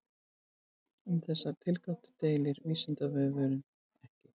Um þessar tilgátur deilir Vísindavefurinn ekki.